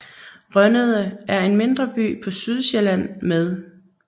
Rønnede er en mindre by på Sydsjælland med